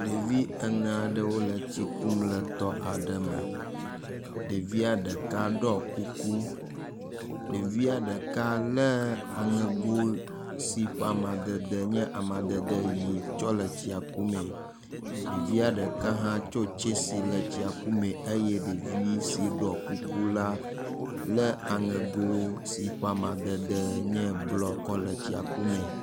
Ɖevi ene aɖewo le tsi kum le etɔ aɖe me. Ɖevia ɖeka ɖɔ kuku, ɖevia ɖeka le aŋego si ƒe amadede nye amadede ʋi tsɔ le etsia ku mee. Ɖevia ɖeka hã tso tsesi le tsia ku mee eye ɖevi si ɖɔ kuku la le aŋego si ƒe amadede nye blɔ kɔ le tsia ku mee.